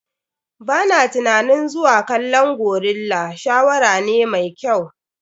Ba na tunanin zuwa kallon gorilla shawara ne mai kyau.